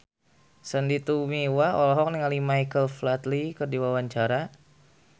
Sandy Tumiwa olohok ningali Michael Flatley keur diwawancara